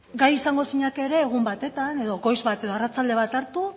gai izango zinake ere egun batetan edo goiz bat edo arratsalde bat hartu